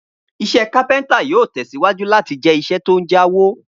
Iṣẹ́ kápẹ́ntà yóò tẹ̀síwájú láti jẹ́ iṣẹ́ tó ń jáwó